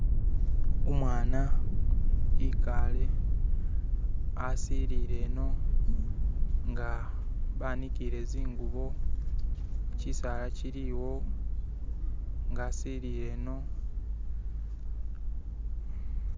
umwana ikale asilile ino nga banikile zingubo chisaala chili wo nga asilile ino